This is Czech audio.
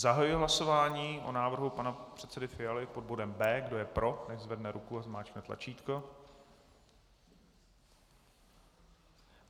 Zahajuji hlasování o návrhu pana předsedy Fialy pod bodem B. Kdo je pro, nechť zvedne ruku a zmáčkne tlačítko.